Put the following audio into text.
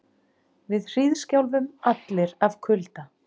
Við hríðskjálfum allir af kulda.